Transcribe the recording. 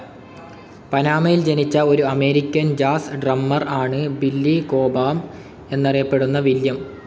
പനാമയിൽ ജനിച്ച ഒരു American jazz drummer ആണ് ബില്ലി കോബാം എന്നറിയപ്പെടുന്ന വില്യം.